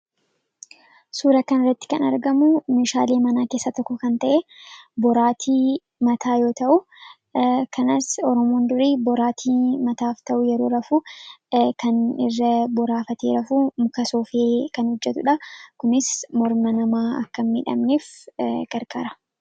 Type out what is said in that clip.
suura kan irratti kan argamu mishaalee manaa keessa tokko kan, ta'e boraatii mataa yoo ta'u kanaas oromoon durii boraatii mataaf ta'uu yeroo rafuu kan irra boraafatee rafuu muka soofee kan hojjetuudha kunis morma namaa akka midhamneef gargaara.